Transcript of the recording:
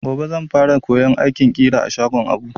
Gobe zan fara koyon aikin ƙira a shagon Abu.